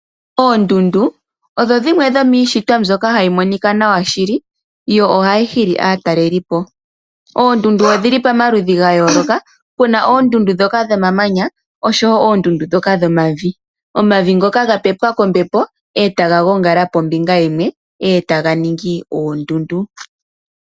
Oondundu odho dhimwe dhomishitwa mbyoka hayi monika nawa shili dho ohadhi hili aatalelipo. Oondundu odhili pamaludhi ga yoloka puna oondundu dhoka dhomamanya oshowo oondundu dhoka dhomavi, omavi ngoka ga pepwa kombepo etaga gongala pombinga yimwe etaga ningi oondundu.